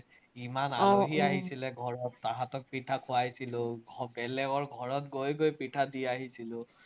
ইমান আহিছিলে ঘৰত, তাহাঁতক পিঠা খুৱাইছিলো, বেলেগৰ ঘৰত গৈ গৈ পিঠা দি আহিছিলো।